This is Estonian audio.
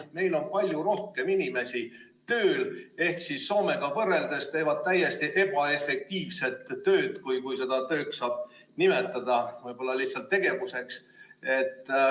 Meil on palju rohkem inimesi tööl ehk siis Soomega võrreldes teevad nad täiesti ebaefektiivset tööd, kui seda tööks saab nimetada, võib-olla lihtsalt tegevuseks.